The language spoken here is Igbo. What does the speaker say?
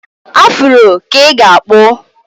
Afuro ka ị ga-akpụ.